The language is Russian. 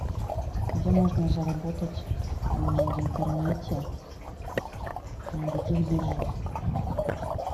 где можно заработать в интернете на каких биржах